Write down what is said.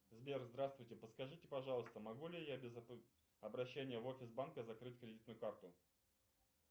сбер здравствуйте подскажите пожалуйста могу ли я без обращения в офис банка закрыть кредитную карту